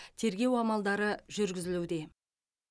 тергеу амалдары жүргізілуде